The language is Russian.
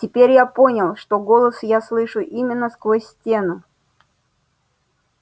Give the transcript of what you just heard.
теперь я понял что голос я слышу именно сквозь стену